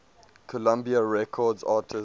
columbia records artists